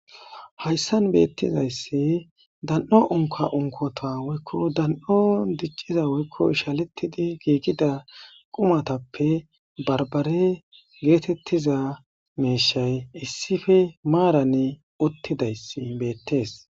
Hayssan beetizayssi dan7o unkka unkkota woyko dan7on dicciza woyko ishaletidi giigiza qumatappe barbare geetetiza miishay issipe maarani uttidayssi betees.